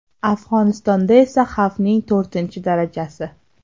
Afg‘onistonda esa xavfning to‘rtinchi darajasi.